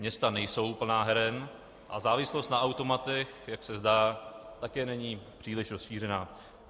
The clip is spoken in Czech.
Města nejsou plná heren a závislost na automatech, jak se zdá, také není příliš rozšířená.